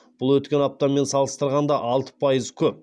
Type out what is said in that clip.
бұл өткен аптамен салыстырғанда алты пайыз көп